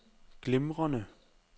glimrende